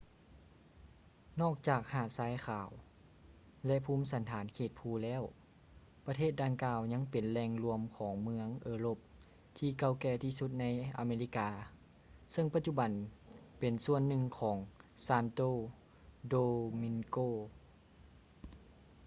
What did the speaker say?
ນອກຈາກຫາດຊາຍຂາວ ແລະ ພູມສັນຖານເຂດພູແລ້ວ ປະເທດດັ່ງກ່າວຍັງເປັນແຫຼ່ງລວມຂອງເມືອງເອີຣົບທີ່ເກົ່າແກ່ທີ່ສຸດໃນອາເມລິກາ ເຊິ່ງປະຈຸບັນເປັນສ່ວນໜຶ່ງຂອງ santo domingo